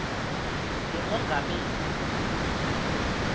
lemongameli